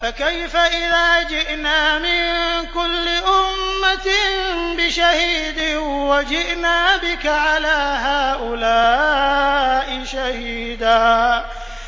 فَكَيْفَ إِذَا جِئْنَا مِن كُلِّ أُمَّةٍ بِشَهِيدٍ وَجِئْنَا بِكَ عَلَىٰ هَٰؤُلَاءِ شَهِيدًا